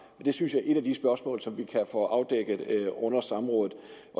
det synes jeg er et af de spørgsmål som vi kan få afdækket under samrådet